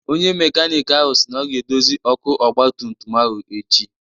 Onye mekanịk ahụ si na ọ ga-edozi ọkụ ọgba tum tum ahụ echi.